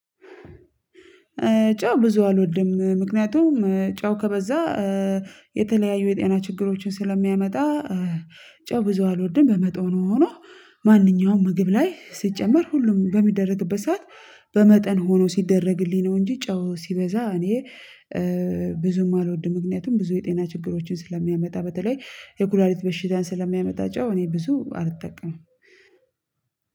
ጨው ብዙ አልወድም ምክንያቱም ጨው ከበዛ የተለያዩ የጤና ችግሮችን ስለሚያመጣ። ጨው ብዙ አልወድም በመጠኑ ነው ሆኖ። ማንኛውም ምግብ ላይ ሲጨመር ሁሉም በሚደረግበት ሰዓት በመጠን ሆኖ ሲደረግልኝ ነው። እንጂ ጨው ሲበዛ እኔ ብዙም አልወድም። ምክንያቱም ብዙ የጤና ችግሮችን ስለሚያመጣ በተለይ የኩላሊት በሽታን ስለሚያመጣ። ጨው እኔ ብዙ አትጠቀምም።